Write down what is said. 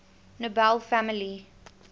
nobel family